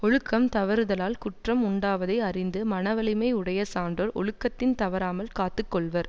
ஒழுக்கம் தவறுதலால் குற்றம் உண்டாவதை அறிந்து மனவலிமை உடைய சான்றோர் ஒழுக்கத்தின் தவறாமல் காத்து கொள்வர்